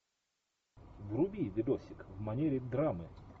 вруби видосик в манере драмы